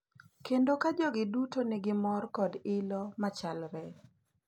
Kendo ka jogi duto nigi mor kod ilo machalre.